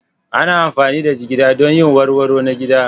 Ana amfani da jigida don yin warwaro na gida.